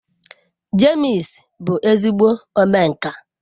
James bu ezigbo omenka.